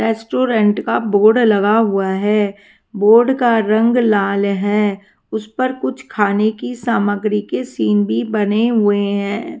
Restaurant का board लगा हुआ है बोर्ड का रंग लाल है उस पर कुछ खाने की सामग्री के सीन भी बने हुए हैं।